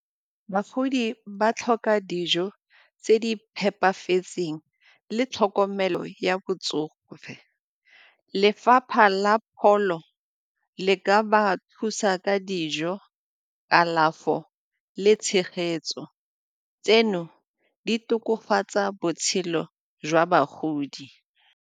Bagodi ba tlhoka dijo tse di phepafetseng le tlhokomelo ya botsogo. Lefapha la pholo le e ka ba thusa ka dijo, kalafo le tshegetso, tseno di tokafatsa botshelo jwa bagodi.